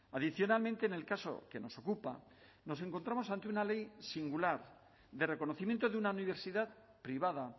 adicionalmente en el caso que nos ocupa nos encontramos ante una ley singular de reconocimiento de una universidad privada